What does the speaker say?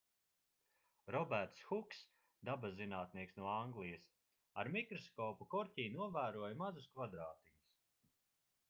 roberts huks dabaszinātnieks no anglijas ar mikroskopu korķī novēroja mazus kvadrātiņus